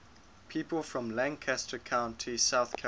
people from lancaster county south carolina